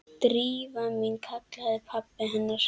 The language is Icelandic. Drífa mín- kallaði pabbi hennar.